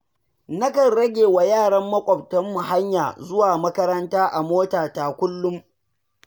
Nakan ragewa yaran maƙwabtanmu hanyar zuwa makaranta a motata kullum.